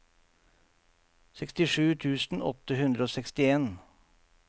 sekstisju tusen åtte hundre og sekstien